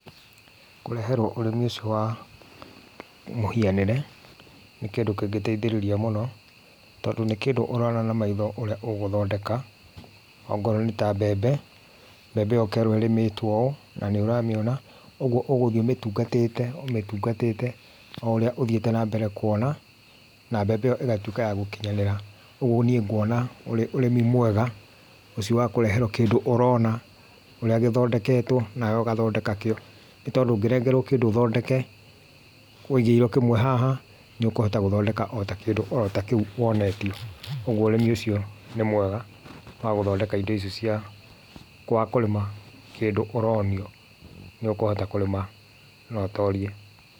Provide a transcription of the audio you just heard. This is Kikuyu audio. Kũreherwo ũrĩmi ũcio wa mũhianĩre nĩ kĩndũ kĩngĩteithĩrĩria mũno tondũ nĩ kĩndũ ũrona na maitho ũrĩa ũgũthondeka, okorwo nĩ ta mbembe, ũkerwo ĩrĩmĩtwo ũũ na nĩ ũramĩona, ũguo ũgũthiĩ ũmĩtungatĩte o ũrĩa ũthiĩte na mbere kwona, na mbembe ĩyo ĩgatuĩka ya gũkinyanĩra, ũguo niĩ ngwona ũrĩmi ũcio wa kũreherwo kĩndũ ũrona, ũrĩa gũthondekwo nawe ũgathondeka kĩo, nĩ tondũ ũngĩnengerwo kĩndũ ũthondeke wũigĩirwo kĩmwe haha nĩũkũhota gũthondeka ota kĩndũ ota kĩu wonetio, koguo ũrĩmi ũcio nĩ mwega wa gũthondeka indo icio cia kũrĩma kĩndũ ũronio, nĩ ũkũhota kũrĩma na ũtorie.